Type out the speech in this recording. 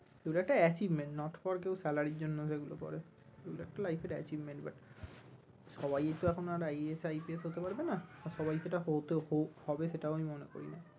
ওগুলো একটা achievement not for কেউ salary ইর জন্য সেগুলো করে এগুলো একটা লাইফের achievement but সবাই তো এখন আর IASIPS হতে পারবে না, সবাই সেটা হতে হবে সেটাও আমি মনে করি না